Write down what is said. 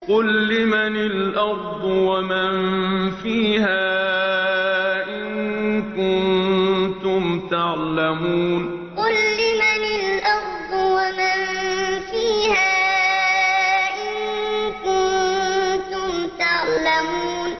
قُل لِّمَنِ الْأَرْضُ وَمَن فِيهَا إِن كُنتُمْ تَعْلَمُونَ قُل لِّمَنِ الْأَرْضُ وَمَن فِيهَا إِن كُنتُمْ تَعْلَمُونَ